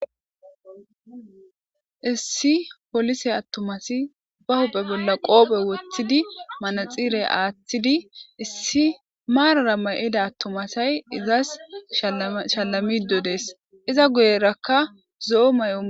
issi polise attomasi ba hupe bolla qoope woththidi manaxire aaththidi issi maarara ma7ida attomasay izas sshalamidodees iza guyerakka zo7o may7o